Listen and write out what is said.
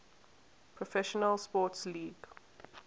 professional sports league